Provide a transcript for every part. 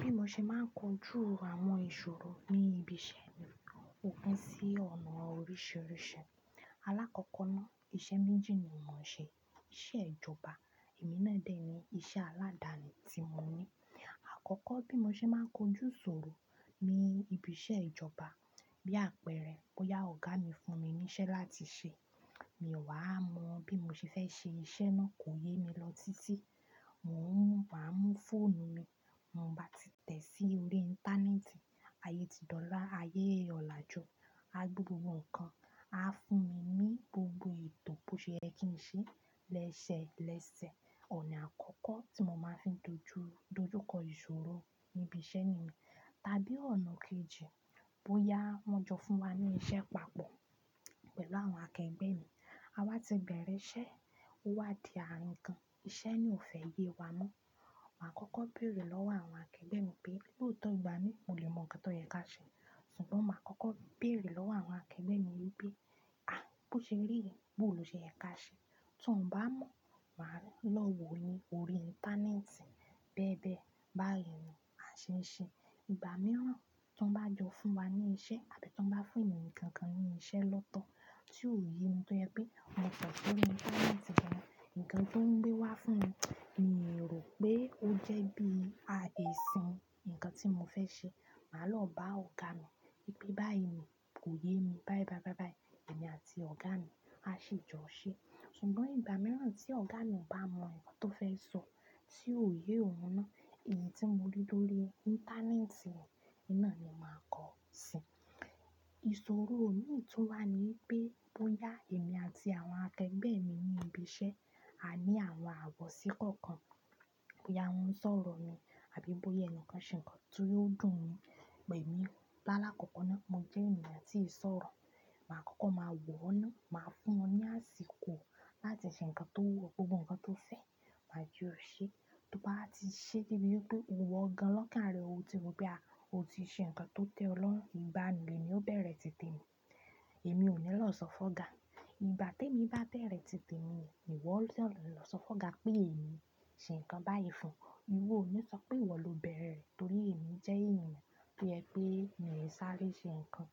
Bí mo ṣe máa ń kojú àwọn ìṣòro ní ibi iṣẹ́ mi ò pin sí ọ̀nà oríṣìíríṣìí. Alákọ́kọ́ náà iṣẹ́ méjì ni mò ń ṣe, iṣẹ́ ìjọba èmi náà dẹ̀ ni iṣẹ́ aládani tí mo ní. Àkọ́kọ́ bí mo ṣe máa ń kojú ìṣòro ní ibi iṣẹ́ ìjọba, bí àpẹẹrẹ bóyá ọ̀gá mi fún mi ní iṣẹ́ láti ṣe, mi ò wá mọ bí mo ṣe fẹ́ ṣe iṣẹ́ náà kò yé mi lọ títí, mò ń máa mú fóònù mi, bi mò bá ti tẹ̀ sí orí íńtánẹ́ẹ̀tì, ayé ti dọ́lá, ayé ọlàjú, a gbe gbogbo nǹkan, a fún mi ní gbogbo ètò bó ṣe yẹ́ kí n ṣe lẹ́sẹ lẹ́sẹ̀. Ọ̀nà àkọ́kọ́ tí mo máa ń fi dojú dojúkọ ìṣòro ní ibi iṣẹ́ niyen, tàbí ọ̀nà kejì bóyá wọ́n jọ fún wa ní iṣẹ́ papọ̀ pẹ̀lú àwọn akẹgbẹ́ mi, a wá ti bẹ̀rẹ̀ iṣẹ́, ó wá di àrin kan, iṣẹ́ naa ò fẹ́ yé wa mọ́, màá kọ́kọ́ bèrè lọ́wọ́ àwọn akẹgbẹ́ mi pé lótọ̀ igba mi, mo lè mọ nǹkan tó yẹ ká ṣe. Ṣùgbọ́n màá kọ́kọ́ bèrè lọ́wọ́ àwọn akẹgbẹ́ mi wípé, bó ṣe rí re, bó lo ṣe yẹ ká ṣe?" Tí wọ́n bá mọ̀, màá lọ wò ó ní orí íńtánẹ́ẹ̀tì bẹ́ẹ̀ bẹ́ẹ̀. Báyi ni, á ṣe n ṣe nnkan po. Ìgbà mìíràn tan bá jọ fún wa ní iṣẹ́ àbí tan bá fún ènìyàn kankan ní iṣẹ́ lọ́tọ̀ tí ò yé mi tó jẹ pé, mo te sori íńtánẹ́ẹ̀tì gan, nǹkan tí ó ń gbé wá fún mi, mi rò pé ó jẹ́ bí i esan nǹkan tí mo fẹ́ ṣe, màá lọ bá ọ̀gá mi wípé, "bá yi ni, kò yé mi báyi báyi báyi." Ẹ̀mí àti ọ̀gá mi á ṣi jọ̀ṣe. Ṣùgbọ́n ìgbà mìíràn tí ọ̀gá mi ò bá mọ nnkan tó fẹ́ sọ tí ò yé òun náà, èyí tí mo rí lórí íńtánẹ́ẹ̀tì yen, oun nás ni màá kọ sí i. Ìṣòro mìí tun wà ni wipé bóyá ẹ̀mí àti àwọn akẹgbẹ́ mi ní ibi iṣẹ́ a ní àwọn ààwọ̀ sí kọ̀ọ̀kan, bóyá wọ́n ń sọ̀rọ̀ mi àbí bóyá ẹni kan ṣe nkan tí ò dùn mi, pelu, lálakọ̀ọ́kọ́ná mo jẹ́ ènìyàn tí ì sọ̀rọ̀, màá kọ́kọ́ máa wò ó náà, màá fún wọn ní àsìkò láti ṣe nkan tó wu o, gbogbo nkan tó fẹ́, màá je o ṣé. To bá wa ti ṣe debi wipe iwo gan lọ́kàn ara rẹ̀, ó ti mọ̀ pé à o ti ṣe nkan tó tẹ́ ọ lọ́rún, igbá un lemi ó bẹ̀rẹ̀ tìtemi. Emí ò ní lọ sọ fún ọ̀gá. Ìgbà tí èmi bá bẹ̀rẹ̀ tìtemi un, ni ìwọ lọ sọ fún ọ̀gá pé èmi ṣe nǹkan báyìí fún ọ. Ìwọ ò ní sọ pé ìwọ ló bẹ̀erẹ̀ re, torí èmi jẹ́ ènìyàn to je pé mii sáré so nkan.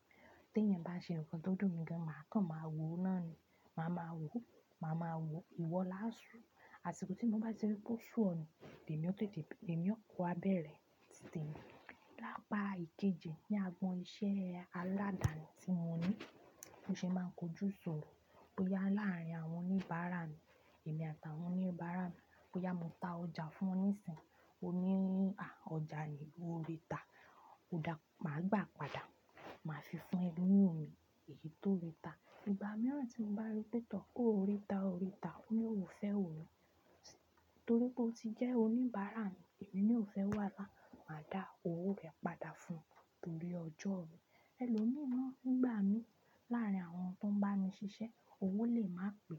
Tí èèyàn bá ṣe nkan tó dùn mi gan, màá kàn màá wò ó náà ni. Màá ma wò ó, màá ma wò ó, ìwọ láásù. Àsìkò tí mò bá ti rí pé ó ṣú e yen, lèmi ó tètè, lèmi ó wa bẹ̀rẹ̀ tìtemi. Lápa ìkejì ní àgboni iṣẹ́ aládani tí mo ní, bi mo ṣe máa ń kojú ìṣòro, bóyá láàárín àwọn oníbàárà mi, èmi àtàwọn oníbàárà mi, bóyá mo ta ọjà fún wọn níìsín, ó ní, "à ọjà ni, ó ríta." Ó dà, màá gbà padà, màá fi fún ẹlòmíràn, èyí tó ríta. Ìgbà mìíràn tí mò bá rí pé tọ́, o ó ríta, ó o ríta, ó ní òun ò fẹ́ òwo oun, torí pé ó ti jẹ́ oníbàárà mi, èmi naa ò fẹ́ wàhalá, màá dá owó rẹ̀ padà fún o torí ọjọ́ mi. Ẹlòmíi naa nígbà mii láàárín àwọn ti won ń bá mi ṣiṣẹ́ owó lè máa pè.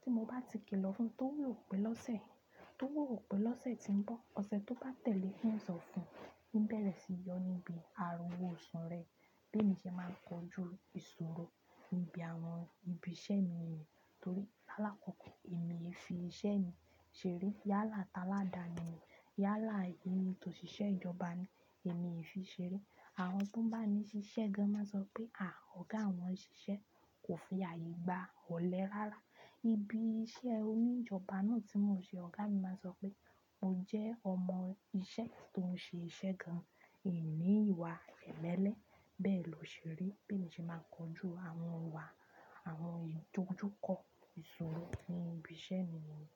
Tí mo bá ti kìlọ̀ fún un t'ówò ó pé lọ́sẹ̀, tó wò ó pé lọ́sẹ̀ tí ń bọ̀, ọ̀sẹ̀ tó bá tẹ̀lé n sọ fún un, un bẹ̀rẹ̀ sí yọ níbi ara owó osu rẹ̀. Bí mo ṣe máa ń kojú ìṣòro níbi àwọn ibi iṣẹ́ mi. Nitorí lálakọ̀ọ́kọ́ èmi o le fi iṣẹ́ mi ṣeré yálà táládani, yálà èyí tóṣiṣẹ́ ìjọba ni, èmi o fi ṣeré. Àwọn ti won ń bá mi ṣiṣẹ́ gan máa sọ pé, "à ọ̀gá wọn ṣiṣẹ́ kò fi ààyè gba, òlẹ́ rárá." Ibi iṣẹ́ oníjọba náà tí mò ń ṣe, ọ̀gá mi máa sọ pé, "o jẹ́ ọmọ iṣẹ́ tó ń ṣe iṣẹ́ gan, O o ninìwà emele." Bẹ́ẹ̀ lo ṣe rii, bí emi ṣe máa ń kojú àwọn ìwà àwọn ìdojúkọ ìṣòro ní ibi iṣẹ́ mi niyen.